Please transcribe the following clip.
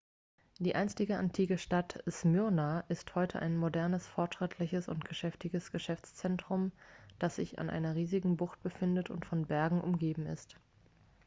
die einstige antike stadt smyrna ist heute ein modernes fortschrittliches und geschäftiges geschäftszentrum dass sich an einer riesigen bucht befindet und von bergen umgeben ist